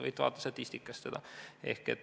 Võite seda vaadata statistikast.